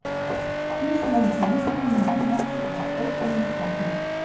Pusi var líka löngu kominn heim aftur og var stórhrifinn af stráknum.